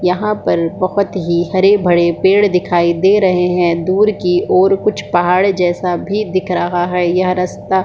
यहाँ पर बहुत ही हरे भरे पेड़ दिखाई दे रहे हैं दूर कि और कुछ पहाड़ जैसा भी दिख रहा है यह रस्ता --